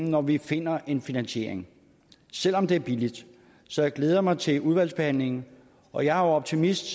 når vi finder en finansiering selv om det er billigt så jeg glæder mig til udvalgsbehandlingen for jeg er optimist